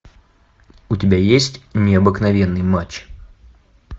у тебя есть необыкновенный матч